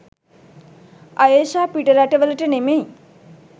අයේෂා පිටරට වලට නෙමෙයි